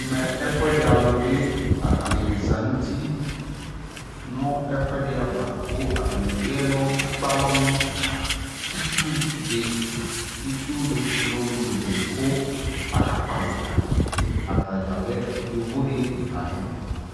ɛmɛ ɛƒʋɛdi alʋ bi atani zanʋ ʋti nʋ ɛkʋɛdi aɣa kʋ atani ɛkpɛ ɛlɔ nʋ itsʋ di itsʋ lʋlʋ di kʋ aka kpɔ avita, atagya lɛ yɔvɔ ni layɛ